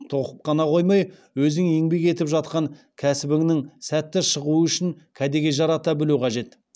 тоқып қана қоймай өзің еңбек етіп жатқан кәсібіңнің сәтті шығуы үшін кәдеге жарата білу қажет